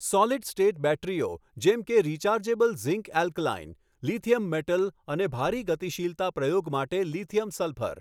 solid state બૅટરીઓ જેમ કે rechargeable zinc alkaline, lithium metal અને ભારે ગતિશીલતા પ્રયોગ માટે લિ સલ્ફર